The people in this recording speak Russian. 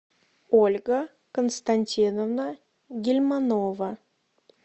ольга константиновна гильманова